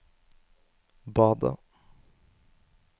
badet